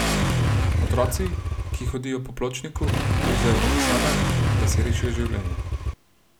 Otroci, ki hodijo po pločniku, plezajo po fasadah, da si rešijo življenje.